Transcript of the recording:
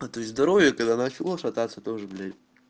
а то есть здоровье когда начало шататься тоже блять